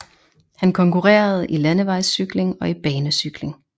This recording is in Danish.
Han konkurrerede i landevejscykling og i banecykling